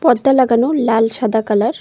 পর্দা লাগানো লাল সাদা কালার ।